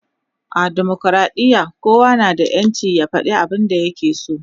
a demokradiya kowa na da ƴancin ya fada abun da ya ke so